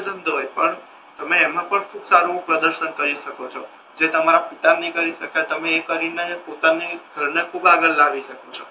જે ધંધો હોય પણ તમે એમા પણ ખૂબ સારુ પ્રદર્શન કરી શકો છો જે તમારા પિતા નથી કરી શક્ય તમે એ કરીને પોતાના ઘર ને ખૂબ આગળ લાવી સકો છો.